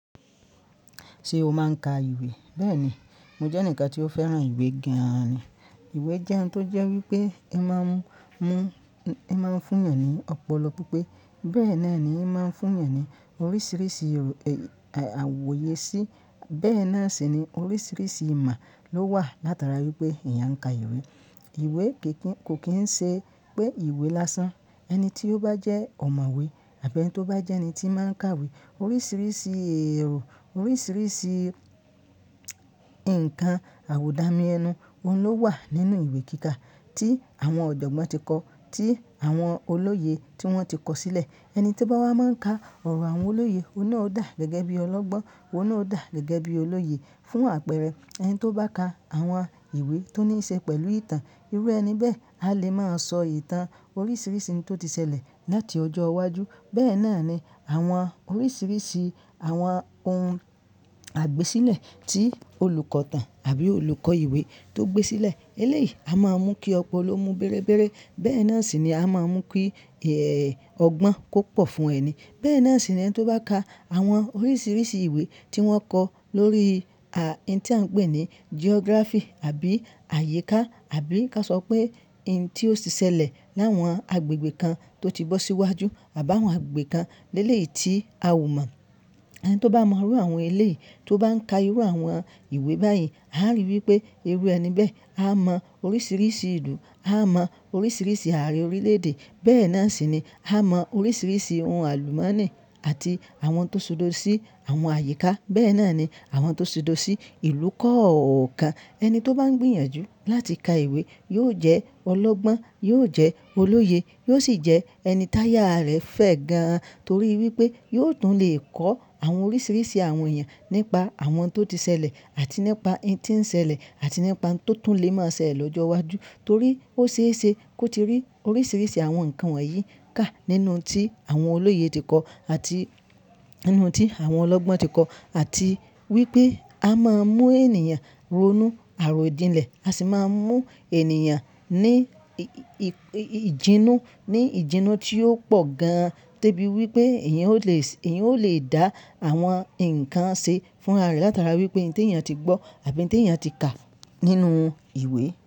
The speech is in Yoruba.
Ṣé o máa ń ka ìwé? Bẹ́ẹ̀ni, mo jẹ́ ẹnìkan tí ó fẹ́ràn ìwé gan-an ni. Ìwé jẹ́ ohun tó jẹ́ wípé i máa ń mú, i máa ń fún èèyàn ní ọ̀pọ̀lọpọ̀ pipe. Bẹ́ẹ̀ náà ni, i máa ń fún èèyàn ní oríṣiríṣi àwòye sí, bẹ́ẹ̀ náà sì ni oríṣiríṣi ìmọ̀ ló wà látara wípé èèyàn ń ka ìwé. Ìwé kì í, kò kín ń ṣe pé ìwé lásán. Ẹni tí ó bá jẹ́ ọ̀mọ̀wé àbí ẹni tí ó bá jẹ́ ẹni tí máa ń kawé, oríṣiríṣi ẹ̀rọ, oríṣiríṣi ǹkan àwùdàmi ẹnu, òun ló wà nínú ìwé kíka tí àwọn ọ̀jọ̀gbọ́n ti kọ, tí àwọn olóye tí wọ́n ti kọ sílẹ̀. Ẹni to bá wa máa ń ka ọ̀rọ̀ àwọn olóye, òun náà ó dà gẹ́gẹ́ bí ọlọ́gbọ́n, òun náà ó dà gẹ́gẹ́ bí olóye. Fún àpẹẹrẹ, ẹni tó bá ka àwọn ìwé tó ní í ṣe pẹ̀lú ìtàn, irú ẹni bẹ́ẹ̀ a lè máa sọ ìtàn oríṣiríṣi oun tó ti ṣẹlẹ̀ láti ọjọ́ iwájú. Bẹ́ẹ̀ náà ni àwọn oríṣiríṣi àwọn ohun àgbésílẹ̀ tí olùkọ̀tàn àbí olùkọ́ ìwé tó gbé sílẹ̀ eléyìí, a máa mú kí ọ̀pọ̀ló mú bẹ́ẹ́rẹ́bẹ́ẹ́rẹ́. Bẹ́ẹ̀ náà sì ni a máa mú kí ẹ̀, ọgbọ́n kó pọ̀ fún ẹni. Bẹ́ẹ̀ náà sì ni ẹni tó bá ka àwọn oríṣiríṣi ìwé tí wọ́n kọ lórí, à, hin tí à ń pè ní geography àbí àyíká àbí ká sọ pé hin tí ó ti ṣẹlẹ̀ láwọn agbègbè kan tó ti gbọ́ sí iwájú àbá àwọn agbègbè kan lélè yìí tí a ò mọ̀. Ẹni tó bá mọrú àwọn eléyìí, tó bá ń ka irú àwọn ìwé báyìí, a ri wipé irú ẹni bẹ́ẹ̀, a mọ oríṣiríṣi ìlú, a mọ oríṣiríṣi ààrẹ orílẹ̀-èdè. Bẹ́ẹ̀ náà sì ni a mọ oríṣiríṣi ohun àlùmọ́nì àti àwọn tó ṣudọ̀ sí àwọn àyíká. Bẹ́ẹ̀ náà ni àwọn tó ṣudọ̀ sí ìlú kọ̀ọ̀kan. Ẹni tó bá ń gbìyànjú láti ka ìwé yóò jẹ́ ọlọ́gbọ́n, yóò jẹ́ olóye, yóò sì jẹ́ ẹni táyà rẹ̀ fẹ́ gan-an torí wípé yóò tún lè kọ àwọn oríṣiríṣi àwọn èèyàn nípa àwọn tó ti ṣẹlẹ̀ àti nípa hin tí ń ṣẹlẹ̀ àti nípa ohun tó tún lè máa ṣẹlẹ̀ lọ́jọ́ iwájú torí ó ṣe é ṣe kó ti rí oríṣiríṣi àwọn ǹkan wọ̀nyí kà nínú ohun tí àwọn olóye ti kọ àti nínú ohun tí àwọn ọlọ́gbọ́n ti kọ. Àti wípé a máa mú ènìyàn ronú àròdìnlẹ̀, a sì máa ń mú ènìyàn ní ìjinnu, ní ìjinnu tí ó pọ̀ gan-an de bí wípé èèyàn ó le sì, èèyàn ó le dà àwọn ǹkan ṣe fúnra rẹ̀ látara wípé ohun tí èèyàn ti gbọ́ àbí ohun tí èèyàn ti kà nínú ìwé.